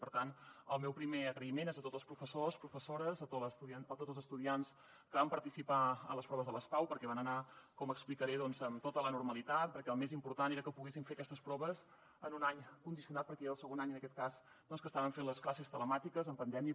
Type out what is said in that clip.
per tant el meu primer agraïment és a tots els professors professores a tots els estudiants que van participar a les proves de les pau perquè van anar com explicaré amb tota la normalitat perquè el més important era que poguessin fer aquestes proves en un any condicionat perquè era el segon any en aquest cas que estaven fent les classes telemàtiques en pandèmia